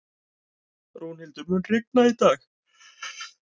Rúnhildur, mun rigna í dag?